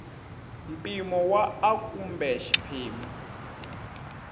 mpimo wa a kumbe xiphemu